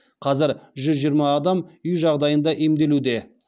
қазір жүз жиырма адам үй жағдайында емделуде